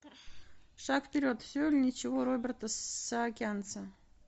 шаг вперед все или ничего роберта саакянца